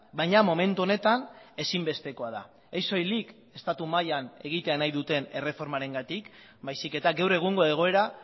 baina momentu honetan ezinbestekoa da ez soilik estatu mailan egitea nahi duten erreformarengatik baizik eta gaur egungo egoera